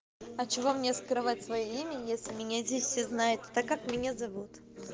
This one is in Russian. а чего мне скрывать своё имя если меня здесь все знают так как меня зовут